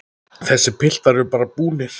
Þessir piltar eru bara búnir.